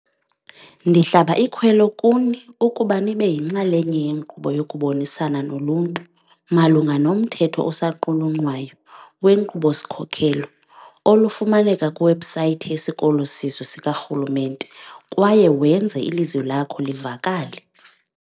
Ndihlaba ikhwelo kuni ukuba nibe yinxalenye yenkqubo yokubonisana noluntu malunga nomthetho osaqulunqwayo wenkqubo-sikhokelo, olufumaneka kwiwebhusayithi yeSikolo Sizwe sikaRhulumente, kwaye wenze ilizwi lakho livakale.